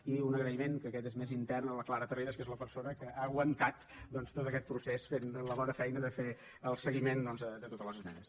i un agraïment que aquest és més intern a la clara tarrida que és la persona que ha aguantat tot aquest procés fent la bona feina de fer el seguiment de totes les esmenes